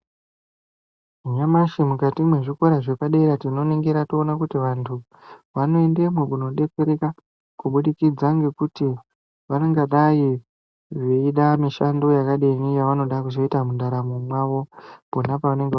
Nyamashi kukati mezvikora zvepadera tinoningira toona kuti vantu vano endemo kunobetsereka kubudikidza ngekuti vanenge veida mushando yakadini yavanooda kuzoita mundaramo mwavo panopavanege.